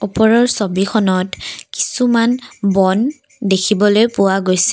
ওপৰৰ ছবিখনত কিছুমান বন দেখিবলৈ পোৱা গৈছে।